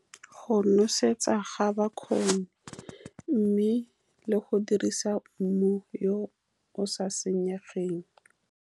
Go nosetsa ga bakgoni, mme le go dirisa mmu yo o sa senyegeng.